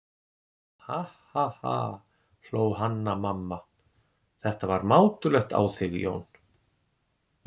Ha ha ha, hló Hanna-Mamma, þetta var mátulegt á þig Jón.